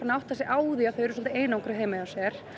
átta sig á því að þau eru einangruð heima hjá sér